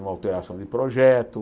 uma alteração de projeto.